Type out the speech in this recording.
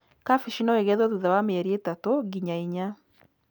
Kabici no igethwo thutha wa mĩeri ĩtatũ nginya inya.